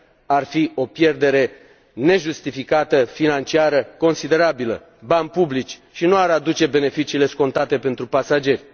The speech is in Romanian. Ar fi o pierdere nejustificată financiară, considerabilă, bani publici, și nu ar aduce beneficiile scontate pentru pasageri.